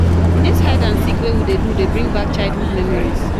Dis hide and seek wey we dey do dey bring back childhood memories